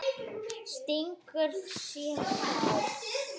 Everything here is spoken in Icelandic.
Stingur sér þá.